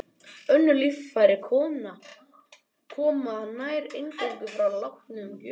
Önnur líffæri koma nær eingöngu frá látnum gjöfum.